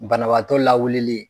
Banabatɔ lawuli